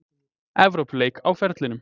Evrópuleik á ferlinum.